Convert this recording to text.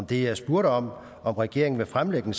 det jeg spurgte om om regeringen vil fremlægge en